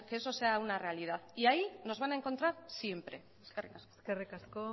que eso sea una realidad y ahí nos van a encontrar siempre eskerrik asko eskerrik asko